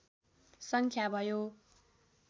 सङ्ख्या भयो